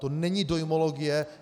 To není dojmologie.